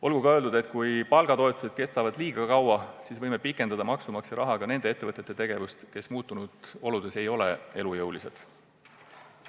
Olgu ka öeldud, et kui palgatoetused kestavad liiga kaua, siis on võimalik, et maksumaksja rahaga pikendatakse nende ettevõtete tegevust, kes muutunud oludes ei ole elujõulised.